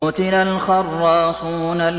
قُتِلَ الْخَرَّاصُونَ